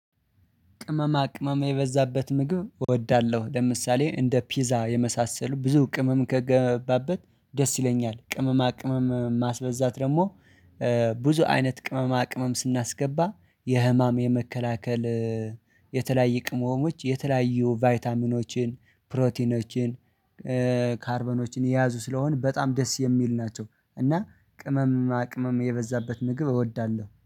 ቅመማ ቅመማ የበዛበት ምግብ እወዳለሁ። ለምሳሌ እንደ ፒዛ የመሳሰሉ ብዙ ቅመም ከገባበት ደስ ይለኛል ቅመማ ቅመም ማስበዛት ደግሞ ብዙ አይነት ቅመማ ቅመም ስናስገባ የህመም የመከላከል የተለያየ ቅመሞች የተለያዩ ቫይታሚኖችን፣ ፕሮቲኖችን ካርበኖችን የያዙ ስለሆነ በጣም ደስ የሚል ናቸው እና ቅመማ ቅመም የበዛበት ምግብ እወዳለሁ